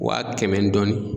Wa kɛmɛ ni dɔɔni